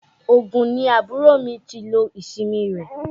Ògùn ni àbúrò mi ti lo ìsinmi rẹ̀.